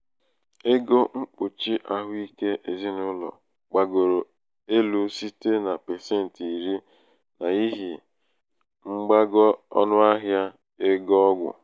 ego mkpùchì ahụike ezinàụlọ̀ gbàgòrò elū site na pàsentì iri n’ihì mgbago ọnụahịa ego ọgwụ̀